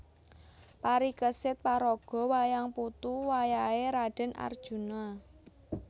Parikesit paraga wayang putu wayah é Radèn Arjuna